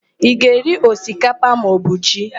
Ị ga-eri osikapa maọbụ ji?